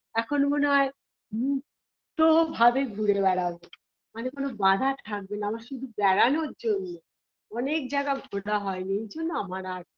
এখন মনে হয় তো ভাবে ঘুরে বেড়াবো মানে কোন বাঁধা থাকবে না আমার শুধু বেড়ানোর জন্য অনেক জায়গা ঘোরা হয়নি এই জন্য আমার আর